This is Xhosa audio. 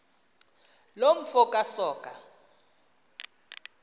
loo mfo kasoga